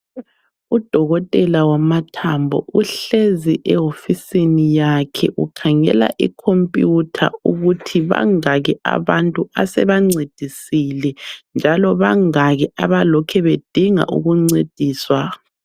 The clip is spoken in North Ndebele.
Udokotela wamathambo uhlezi ehofisini yakhe ukhangela ikhompiyutha ukuthi bangaki abantu asebancedisile njalo bangaki abalokhe bedinga ukuncediswa.